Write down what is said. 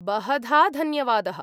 बहधा धन्यवादः।